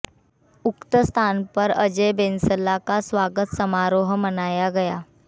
उक्त स्थान पर अजय बैंसला का स्वागत समारोह मनाया गया